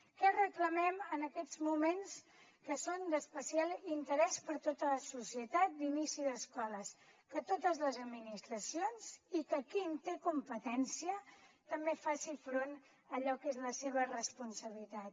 què reclamem en aquests moments que és d’especial interès per a tota la societat d’inici d’escoles que totes les administracions i que qui en té competència també facin front a allò que és la seva responsabilitat